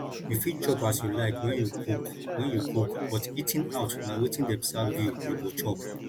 you fit chop as you like when you cook when you cook but eating out na wetin dem serve you you go chop